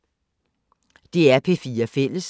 DR P4 Fælles